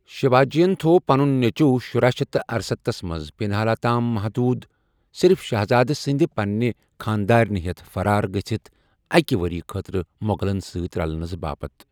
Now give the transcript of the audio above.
شیواجین تھوو پنُن نیٚچوٗ شُراہ شیتھ تہٕ ارستَتھس منٛز پنہالہ تام محدوٗد، صرف شہزادٕ سندِ پنِنہِ خانٛدارِنہِ ہیتھ فرارگژِھتھ اكہِ وریہ خٲطرٕ مو٘غلن سۭتۍ رلنس باپت ۔